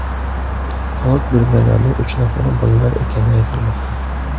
Halok bo‘lganlarning uch nafari bolalar ekani aytilmoqda.